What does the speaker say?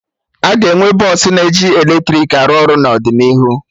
Aga enwe bọsụ na eji eletrik arụ ọrụ n'ọdịnihu